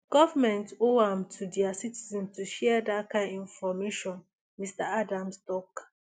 governments owe am to dia citizens to share dat kain information mr adams tok